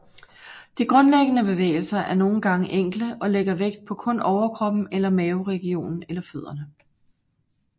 De grundlæggende bevægelser er nogen gange enkle og lægger vægt på kun overkroppen eller maveregionen eller fødderne